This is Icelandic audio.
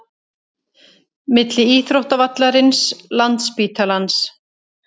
Milli íþróttavallarins, landsspítalans